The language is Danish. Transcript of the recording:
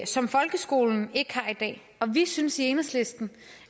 som folkeskolen ikke har i dag og vi synes i enhedslisten